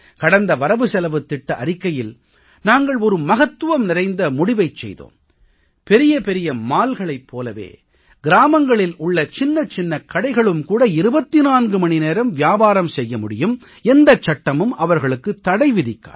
கடந்த வரவுசெலவுத் திட்ட அறிக்கையில் நாங்கள் ஒரு மகத்துவம் நிறைந்த முடிவைச் செய்தோம் பெரிய பெரிய mallகளைப் போலவே கிராமங்களில் உள்ள சின்னச் சின்ன கடைகளும் கூட 24 மணி நேர வியாபாரம் செய்ய முடியும் எந்த சட்டமும் அவர்களுக்குத் தடை விதிக்காது